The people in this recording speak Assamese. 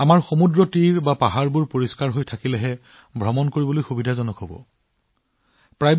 আমাৰ সমুদ্ৰতীৰ আমাৰ পৰ্বতবোৰ কেৱল তেতিয়াহে ভ্ৰমণ কৰাৰ যোগ্য যেতিয়া ই পৰিষ্কাৰপৰিচ্ছন্ন হয়